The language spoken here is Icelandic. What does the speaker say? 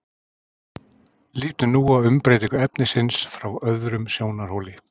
Lítum nú á umbreytingu efnisins frá öðrum sjónarhóli.